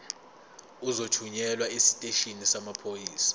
uzothunyelwa esiteshini samaphoyisa